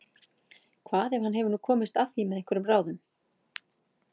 Hvað ef hann hefur nú komist að því með einhverjum ráðum?